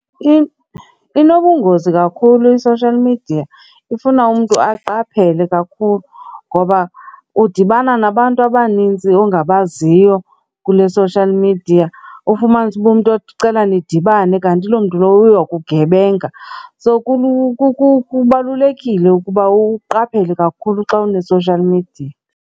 Inobungozi kakhulu i-social media, ifuna umntu aqaphele kakhulu ngoba udibana nabantu abanintsi ongabaziyo kule social media, ufumanise uba umntu othi ucela nidibane kanti loo mntu lowo uyokugebenga. So, kubalulekile ukuba uqaphele kakhulu xa une-social media.